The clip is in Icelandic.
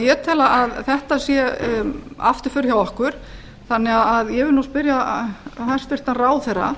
ég tel að þetta sé afturför hjá okkur þannig að ég vil nú spyrja hæstvirtan ráðherra